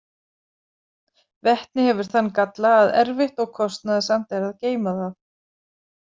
Vetni hefur þann galla að erfitt og kostnaðarsamt er að geyma það.